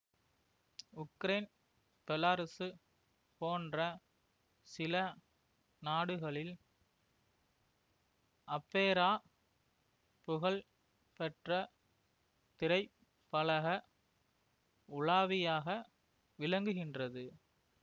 Ukraine Belarus போன்ற சில நாடுகளில் அப்பேரா புகழ் பெற்ற திரைப்பலக உலாவியாக விளங்குகின்றது